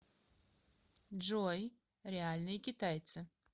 джой реальные китайцы